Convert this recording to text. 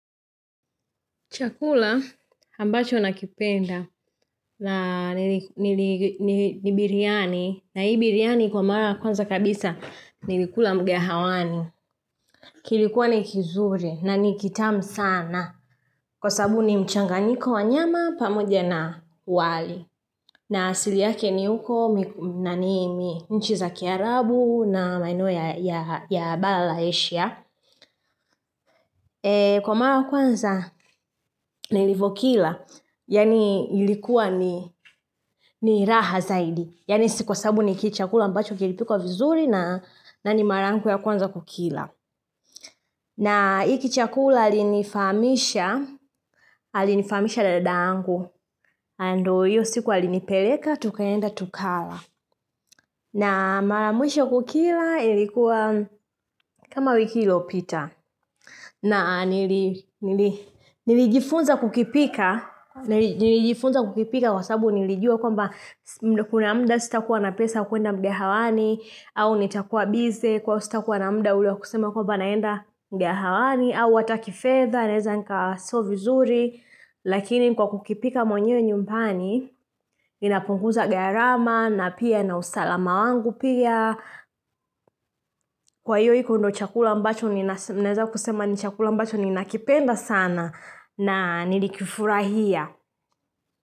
Chakula ambacho nakipenda ni biryani na hii biryani kwa mara kwanza kabisa nilikula mgahawani. Kilikuwa ni kizuri na ni kitamu sana kwa sababu ni mchanganyiko wa nyama pamoja na wali. Na asili yake ni huko na ni mi nchi za kiarabu na maeno ya bala la ashia. Kwa mara ya kwanza nilivokila. Yaani ilikuwa ni raha zaidi. Yaani si kwa sababu ni kichakula ambacho kilipikwa vizuri. Na ni mara yangu ya kwanza kukila. Na hiki chakula alinifahamisha. Alinifahamisha dadangu Ando hiyo siku alinipeleka tukaenda tukala. Na mara ya mwisho kukila ilikuwa kama wiki iliopita. Na nilijifunza kukipika. Nilijifunza kukipika kwa sababu nilijua kwamba kuna mda sitakuwa na pesa kuenda mgahawani. Au nitakuwa bize kwa ivo sitakuwa na mda ule wa kusema kwamba naenda mgahawani. Au ata kifedha, naeza nika so vizuri. Lakini kwa kukipika mwenye nyumbani, inapunguza gharama na pia na usalama wangu pia. Kwa hiyo hiko ndo chakula ambacho, ninaeza kusema ni chakula ambacho ninakipenda sana. Na nilikifurahia.